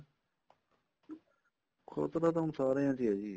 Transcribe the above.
ਖਤਰਾ ਤਾਂ ਹੁਣ ਸਾਰੀਆਂ ਚ ਹੈ ਜੀ